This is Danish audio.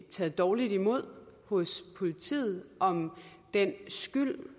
taget dårligt imod hos politiet og om den skyld